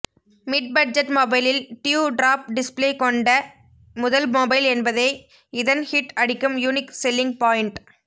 mid budget மொபைலில் dew drop display கொண்ட முதல் மொபைல் என்பதே இதன் ஹிட் அடிக்கும் யுனிக் செல்லிங் பாயின்ட்